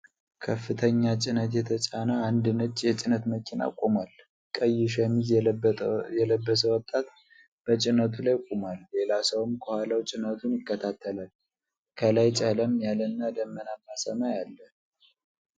ከፍተኛ ጭነት የተጫነ አንድ ነጭ የጭነት መኪና ቆሟል። ቀይ ሸሚዝ የለበሰ ወጣት በጭነቱ ላይ ቆሟል፤ ሌላ ሰውም ከኋላው ጭነቱን ይከታተላል። ከላይ ጨለም ያለና ደመናማ ሰማይ አለ።